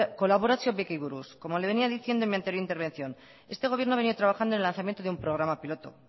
kolaborazio bekei buruz como le venia diciendo en mi anterior intervención este gobierno venia trabajando en el lanzamiento en un programa piloto